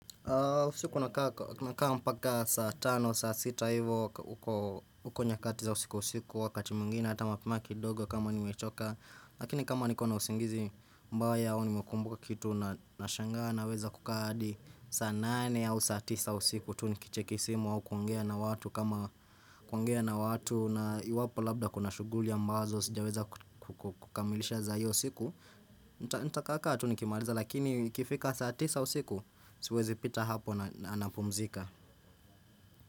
Siku nakaa mpaka saa tano, saa sita hivo, huko nyakati za usiku usiku, wakati mwingine, hata mapema kidogo kama nimechoka, lakini kama niko na usingizi ambayo yao nimekumbuka kitu na shangana, naweza kukaa hadi saa nane au saa tisa usiku, tu nikicheki simu au kuongea na watu kama kuongea na watu, na iwapo labda kuna shuguli ambazo, sijaweza kukamilisha za hiyo usiku, nitakaaka tu nikimaliza lakini ukifika saa tisa usiku Siwezi pita hapo na napumzika.